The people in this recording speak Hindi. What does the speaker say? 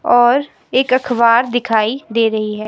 और एक अखबार दिखाई दे रही है।